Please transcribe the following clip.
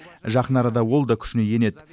жақын арада ол да күшіне енеді